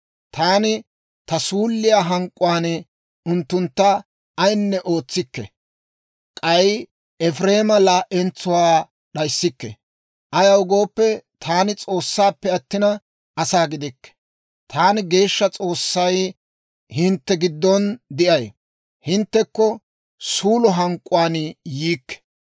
Taani ta suulliyaa hank'k'uwaan unttuntta ayinne ootsikke; k'ay Efireema laa"entsuwaa d'ayissikke. Ayaw gooppe, taani S'oossappe attina, asaa gidikke. Taani Geeshsha S'oossay hintte giddon de'ay; hinttekko suulo hank'k'uwaan yiikke.